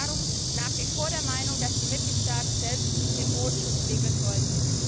Ich bin darum nach wie vor der Meinung, dass die Mitgliedstaaten selbst den Bodenschutz regeln sollten.